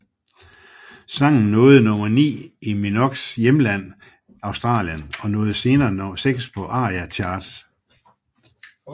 Sangen nåede nummer ti i Minogues hjemland Australien og nåede senere nummer seks på ARIA Charts